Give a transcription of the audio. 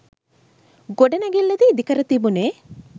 ගොඩනැගිල්ලද ඉදිකර තිබුනේ